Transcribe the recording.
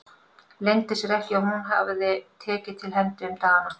Leyndi sér ekki að hún hafði tekið til hendi um dagana.